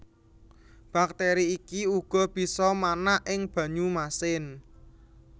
Bakteri iki uga bisa manak ing banyu masin